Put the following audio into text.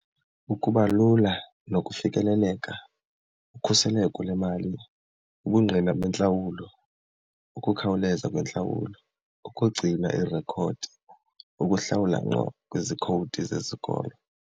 Ukuba lula nokufikeleleka, ukhuseleko lemali, ubungqina bentlawulo, ukukhawuleza kwentlawulo, ukugcina iirekhodi, ukuhlawula ngqo kwizikhowudi zesikolo.